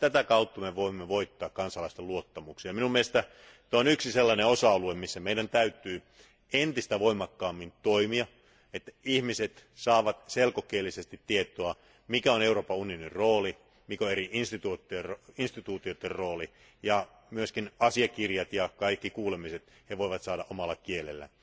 Vain tätä kautta me voimme voittaa kansalaisten luottamuksen, ja minun mielestäni tämä on yksi sellainen osa alue, missä meidän täytyy entistä voimakkaammin toimia, että ihmiset saavat selkokielisesti tietoa, mikä on Euroopan unionin rooli, mikä on eri instituutioiden rooli ja myös asiakirjat ja kaikki kuulemiset he voivat saada omalla kielellään.